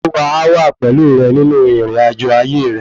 Olúwa a wa pẹ̀lú rẹ nínú ìrìnàjò ayé re